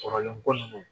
Kɔrɔlen ko nunnu